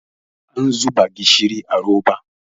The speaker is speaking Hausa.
an zuba gishiri a roba